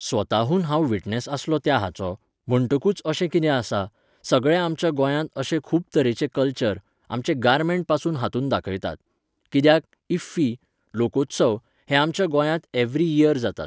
स्वताहून हांव विटनॅस आसलों त्या हाचो, म्हणटकूच अशें कितें आसा, सगळ्या आमच्या गोंयांत अशें खूब तरेचें कल्चर, आमचें गॉर्मेंटपासून हातूंत दाखयतात. कित्याक, इफ्फी, लोकोत्सव हे आमच्या गोंयांत एव्हरी इयर जातात.